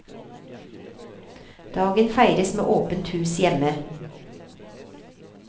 Dagen feires med åpent hus hjemme.